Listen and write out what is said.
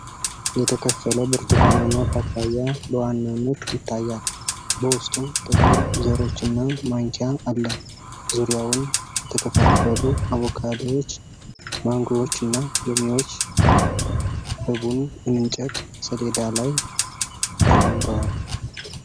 የተከፈለ ብርቱካናማ ፓፓያ በዋናነት ይታያል:: በውስጡም ጥቁር ዘሮችና ማንኪያ አለ:: ዙሪያውን የተከፋፈሉ አቮካዶዎች፣ ማንጎዎችና ሎሚዎች በቡን እንጨት ሰሌዳ ላይ ተቀምጠዋል ::